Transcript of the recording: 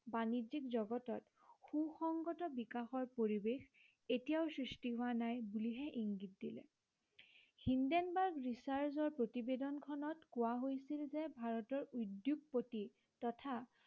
বাণিজ্য়িক জগতত সুসংগত বিকাশৰ পৰিৱেশ এতিয়াও সৃষ্টি হোৱা নাই বুলিহে ইংগিত দিলে। হিন্ডেনবাৰ্গ জুকাৰ্চৰ প্ৰতিবেদন খনত কোৱা হৈছিল যে ভাৰতীৰ উদ্য়োগপতি তথা